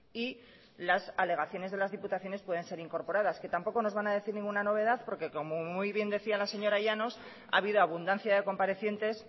y las alegaciones de las diputaciones pueden ser incorporadas que tampoco nos van a decir ninguna novedad porque como muy bien decía la señora llanos ha habido abundancia de comparecientes